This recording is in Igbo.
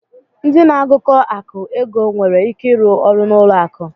Ndị na-agụkọ akụ̀ (ego) nwere ike ịrụ ọrụ n'ụlọ akụ.